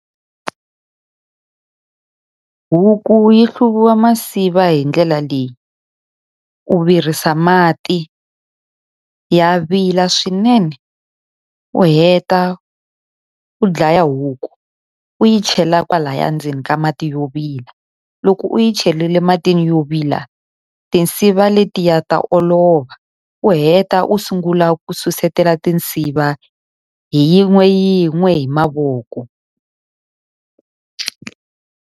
Huku yi hluvisiwa masiva hi ndlela leyi, u virisa mati, ya vila swinene u heta u dlaya huku u yi chela kwalaya ndzeni ka mati yo vila. Loko u yi cherile matini yo vila tinsiva letiya ta olova, u heta u sungula ku susumetela tinsiva hi yin'we yin'we hi mavoko.